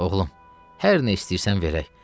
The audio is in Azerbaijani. Oğlum, hər nə istəyirsən verək.